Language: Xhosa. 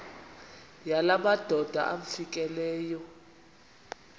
yala madoda amfikeleyo